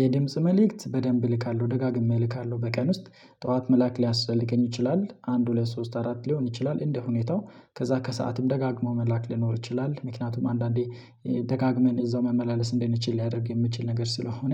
የድምጽ መልእክት በደንብ እልካለሁ ደጋግሜ እልካለሁ በቀን ውስጥ ጠዋት መላክ ሊያስተልከኝ ይችላል አንድ ሁለት ሶስት አራት ሊሆን ይችላል እንደ ሁኔታው። ከዛ ከሰአትም ደጋግሞ መላክ ሊኖር ይችላል ምክንያቱም አንዳንዴ ደጋግመን እዛው መመላለስ እንደነችል ሊያደርግ የሚችል ነገር ስለሆነ